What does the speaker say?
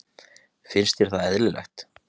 Finnst þér það eðlilegt?